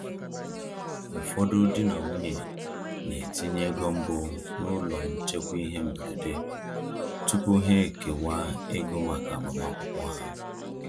Ụfọdụ di na nwunye na-etinye ego mbụ n’ụlọ nchekwa ihe mberede tupu ha ekewa ego maka agbamakwụkwọ ha.